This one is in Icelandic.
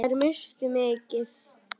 Þær misstu mikið.